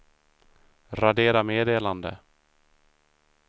radera meddelande